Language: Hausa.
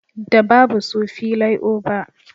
Da babu su filai oba